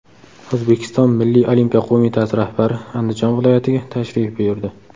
O‘zbekiston milliy olimpiya qo‘mitasi rahbari Andijon viloyatiga tashrif buyurdi.